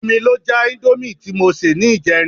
Omi ló já íńdómì tí mo sè ní ìjẹrin.